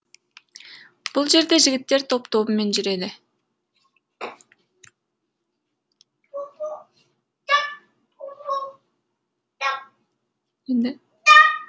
бұл жерде жігіттер топ тобымен жүреді